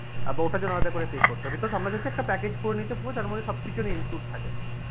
বা ওটার জন্য আলাদা করে pay করতে হবে because আমরা চাইছি একটা package করে নিতে পুরো তার মধ্যে সবকিছু একটা include থাকে